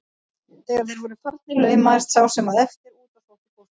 Þegar þeir voru farnir laumaðist sá sem eftir varð út og sótti góssið.